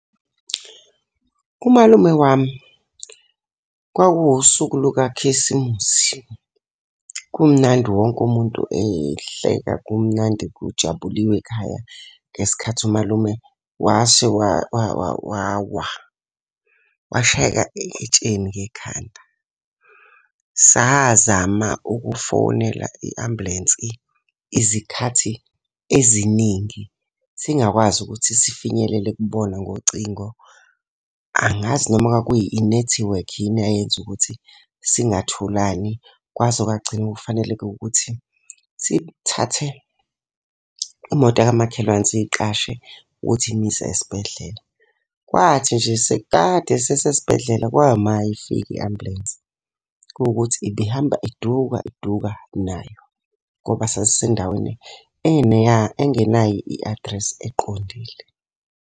Umalume wami, kwakuwusuku lukakhisimusi, kumnandi wonke umuntu ehleka kumnandi kujabilwe ekhaya ngesikhathi umalume wawa washayeka etsheni ngekhanda. Sazama ukufonela i-ambulensi izikhathi eziningi singakwazi ukuthi sifinyelele kubona ngocingo. Angazi noma kwakuyinethiwekhi yini eyayenza ukuthi singatholani kwaze kwagcina kufanele-ke ukuthi sithathe imoto yakamakhelwane siy'qashe ukuthi imiyise esibhedlela. Kwathi nje sekukade sisesibhedlela kwayima ifika i-ambulensi. Kuwukuthi ibihamba iduka iduka nayo, ngoba sasisendaweni engenayo i-adresi eqondile.